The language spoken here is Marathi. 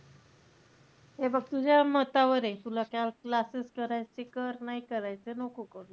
हे बघ तुझ्या मतावरे. तुला त्या classes करायचं कर, नाही करायचय नको करू.